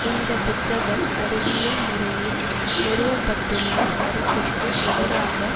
இந்த புத்தகம் அறிவியல் முறையில் நிறுவ பட்டுள்ள கருத்திற்கு எதிராக